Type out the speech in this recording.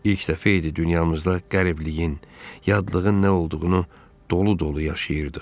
İlk dəfə idi dünyamızda qəribliyin, yadlığın nə olduğunu dolu-dolu yaşayırdıq.